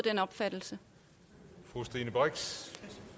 fru stine brix